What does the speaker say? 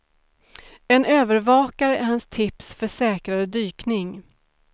En övervakare är hans tips för säkrare dykning.